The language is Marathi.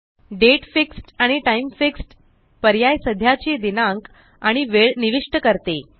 दाते आणि टाइम पर्याय सध्याची दिनांक आणि वेळ निविष्ट करते